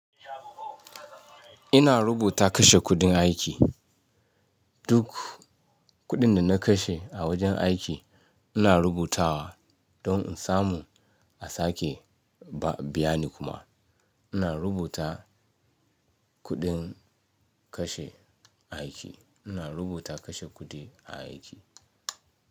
Ina rubuta kashe kuɗin aiki, duk kuɗin da na kashe a wajen aiki ina rubutawa don in samu a sake ba biya ni kuma. Ina rubuta kuɗin kashe aiki, ina rubuta kashe kuɗi a aiki.